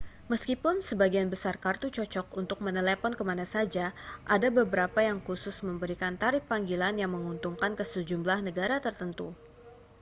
meskipun sebagian besar kartu cocok untuk menelepon ke mana saja ada beberapa yang khusus memberikan tarif panggilan yang menguntungkan ke sejumlah negara tertentu